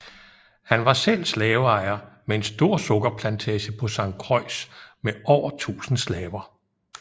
Han var selv slaveejer med en stor sukkerplantage på Sankt Croix med over tusind slaver